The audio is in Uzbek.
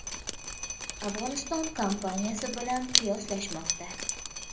Afg‘oniston kampaniyasi bilan qiyoslashmoqda.